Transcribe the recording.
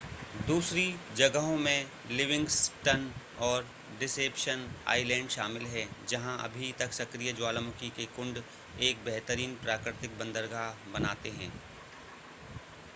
दूसरी जगहों में लिविंगस्टन और डिसेप्शन आइलैंड शामिल हैं जहां अभी तक सक्रिय ज्वालामुखी के कुण्ड एक बेहतरीन प्राकृतिक बंदरगाह बनाते हैं